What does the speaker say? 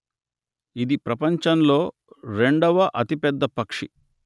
ఇది ప్రపంచంలో రెండవ అతిపెద్ద పక్షి